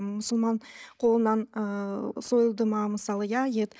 мұсылман қолынан ы сойылды ма мысалы иә ет